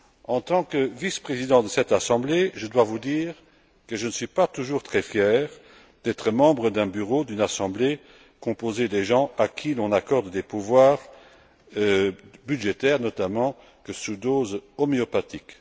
En tant que vice président de cette Assemblée, je dois vous dire que je ne suis pas toujours très fier d'être membre d'un Bureau d'une Assemblée composée de personnes à qui on accorde des pouvoirs budgétaires, notamment à dose homéopathique.